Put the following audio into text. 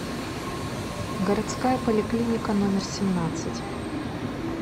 городская поликлиника номер семнадцать